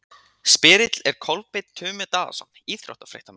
Spyrill er Kolbeinn Tumi Daðason, íþróttafréttamaður.